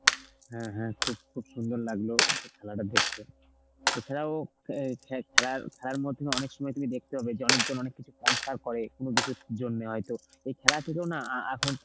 হ্যাঁ হ্যাঁ খুব খুব সুন্দর লাগলো খেলাটা দেখতে এছাড়াও অ্যাঁ খে~ খেলার, খেলার মধ্যে অনেক সময় তুমি দেখতে পাবে যে অনেক জন অনেক কিছু sponsor করে কোন কিছুর জন্যে হয়তো. ওই খেলা থেকেও না আ~ এখন